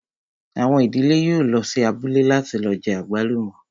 Àwọn ìdílé yóò lọ sí abúlé láti lọ jẹ àgbálùmọ́